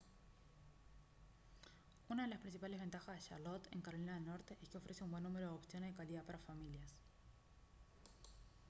una de las principales ventajas de charlotte en carolina del norte es que ofrece un buen número de opciones de calidad para familias